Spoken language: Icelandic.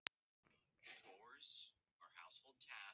Hann lítur til dyranna, illilega brugðið.